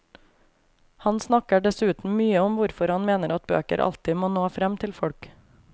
Han snakker dessuten mye om hvorfor han mener at bøker alltid må nå frem til folk.